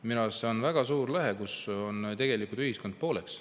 Minu arust see on väga suur lõhe, kui ühiskond tegelikult on pooleks.